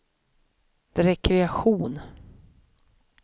rekreation